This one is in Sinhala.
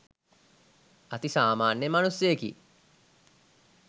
අති සාමාන්‍ය මනුස්සයෙකි